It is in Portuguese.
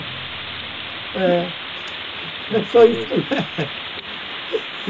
É. É só isso aí.